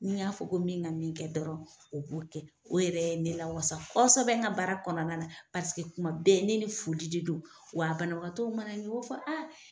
N'i y'a fɔ ko min ka min kɛ dɔrɔn o b'o kɛ . O yɛrɛ ye ne lawasa kɔsɛbɛ n ka baara kɔnɔna na, paseke kuma bɛɛ ne ni foli de don, wa banabagatɔ mana n ɲe u b'a fɔ